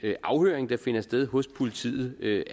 afhøring der finder sted hos politiet ikke